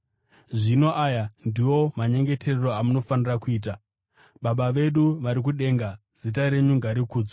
“Zvino aya ndiwo manyengeterero amunofanira kuita: “ ‘Baba vedu vari kudenga, zita renyu ngarikudzwe,